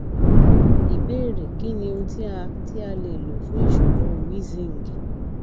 ìbéèrè kí ni ohun ti a ti a le lo fun ìṣòro wheezing